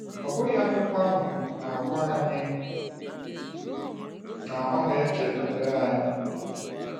Ọ bụghị akwụkwọ ahụ na-agwa anyị na ọ ‘na-eche banyere anyị’?